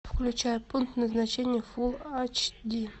включай пункт назначения фул айч ди